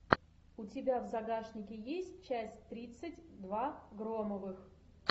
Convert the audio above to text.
у тебя в загашнике есть часть тридцать два громовых